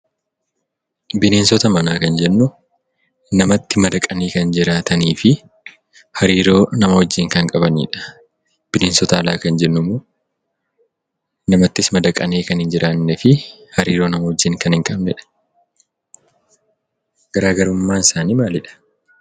Bineensota manaa kan jennu namatti madaqanii kan jiraatanii fi hariiroo nama wajjin kan qabanidha. Bineensota alaa kan jennummoo namattis madaqanii kan hin jiraannee fi hariiroo namaa wajjin kan hin qabnedha. Garaagarummaansaanii maalidha?